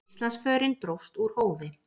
Íslandsförin dróst úr hófi.